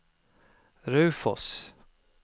Raufoss